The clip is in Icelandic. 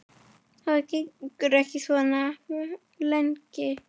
Það gengur ekki svona lengi.